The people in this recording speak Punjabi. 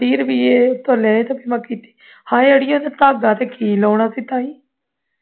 ਤੀਹ ਰੁਪਈਏ ਉਸ ਤੋਂ ਲਏ ਤੇ ਮੈਂ ਕੀਤੀ ਆਈ ਅੜੀਏ ਧਾਗਾ ਤੇ ਕੀ ਲਗਾਉਣਾ ਸੀ ਤਾਈ